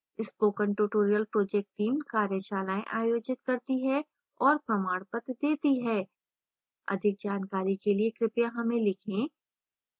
spoken tutorial project team कार्यशालाएँ आयोजित करती है और प्रमाणपत्र देती है अधिक जानकारी के लिए कृपया हमें लिखें